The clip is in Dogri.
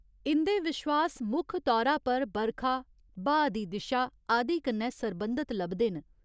इं'दे विश्वास मुक्ख तौरा पर बरखा, ब्हाऽ दी दिशा आदि कन्नै सरबंधत लभदे न।